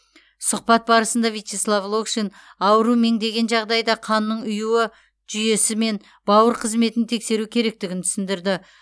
сұхбат барысында вячеслав локшин ауру меңдеген жағдайда қанның ұюы жүйесі мен бауыр қызметін тексеру керектігін түсіндірді